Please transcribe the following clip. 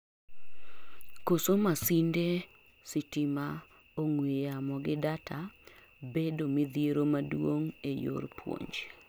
koso masinde, stima, ong'weyamo gi data bedo midhiero maduong' ee yor puonj